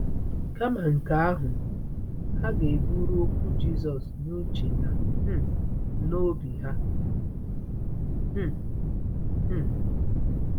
Kama nke ahụ, ha ga-eburu okwu Jisọs n’uche na um n’obi ha. um um